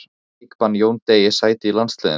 Færði leikbann Jóni Degi sæti í landsliðinu?